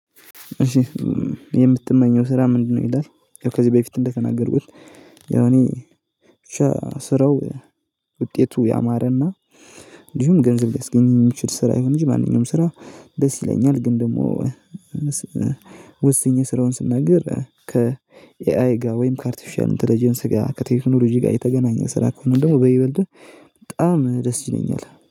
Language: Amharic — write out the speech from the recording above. የምትመኘው ስራ ምንድነው? ይላል ከዚህ በፊት እንደተናገርኩት ያው ያኔ ስራው ውጤቱ ያማረና እንዲሁም ገንዘብ ሊያስገኘኝ ይችል ስራ ይሆን እንጂ ማንኛውም ስራ ደስ ይለኛል። ግን ደግሞ ወስኜ ስራውን ስናገር ከኤይ ጋር ወይም ከአርቲፊሻል ኢንተለጀንስ ጋር ከቴክኖሎጂ ጋር የተገናኘ ስራ ከሆነ ደግሞ በይበልጥህ በጣም ደስ ይለኛል